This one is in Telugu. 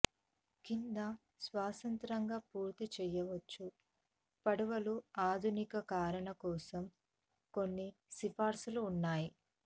క్రింద స్వతంత్రంగా పూర్తి చెయ్యవచ్చు పడవలు ఆధునికీకరణ కోసం కొన్ని సిఫార్సులు ఉన్నాయి